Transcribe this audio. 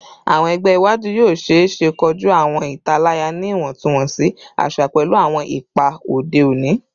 Awọn ẹgbẹ iwaju yoo ṣeese koju awọn italaya ni iwọntunwọnsi aṣa pẹlu awọn ipa ode oni